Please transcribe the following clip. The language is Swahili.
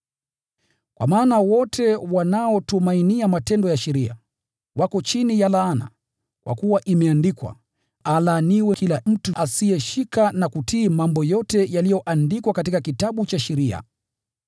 Kwa maana wote wanaotumainia matendo ya sheria wako chini ya laana, kwa kuwa imeandikwa, “Alaaniwe kila mtu asiyeshikilia kutii mambo yote yaliyoandikwa katika Kitabu cha Sheria.”